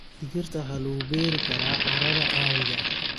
Digirta waxaa lagu beeri karaa carrada caadiga ah.